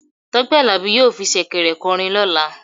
Tope alabi yọọ fí shekèrè korin lola.